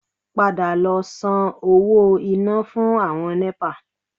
Padà lọ san owó iná fún àwọn Nẹ́pà